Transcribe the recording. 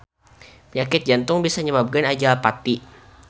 Panyakit jantung bisa nyababkeun ajal pati.